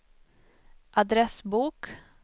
adressbok